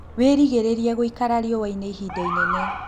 Wĩgirĩrĩrie gũikara riũa-ini ihinda inene